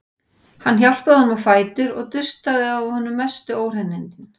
Hann hjálpaði honum á fætur og dustaði af honum mestu óhreinindin.